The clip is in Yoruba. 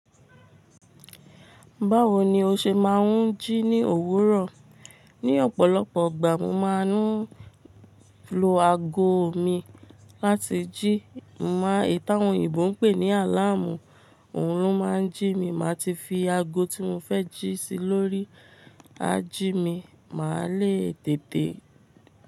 Báwo ni o ṣe máa ń jí ní òwúrọ̀? Ni ọ̀pọ̀lọpọ̀ ìgbà mo máa ń lo ago mi láti jí, mo mọ ìtàn òyìnbó ń pè ní àláàmú, òun lo máa ń jí mi, màá ti fi ago tí mo fẹ́ jí sí i lórí, á jí mi, màá lé tète.